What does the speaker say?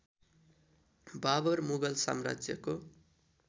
बाबर मुगल साम्राज्यको